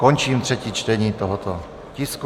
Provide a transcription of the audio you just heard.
Končím třetí čtení tohoto tisku.